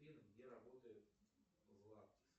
афина где работает златы